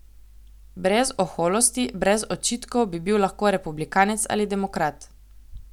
Brez oholosti, brez očitkov bi bil lahko republikanec ali demokrat.